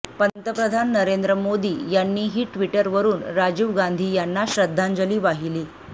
पंतप्रधान नरेंद्र मोदी यांनीही ट्विटरवरून राजीव गांधी यांना श्रद्धांजली वाहिली